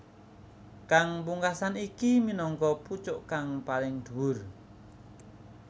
Kang pungkasan iki minangka pucuk kang paling dhuwur